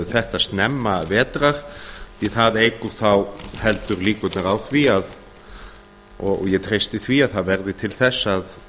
þetta snemma vetrar því það eykur þá heldur líkurnar á því og ég treysti því að það verði til þess að